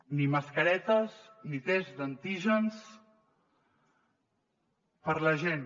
ni mascaretes ni tests d’antígens per a la gent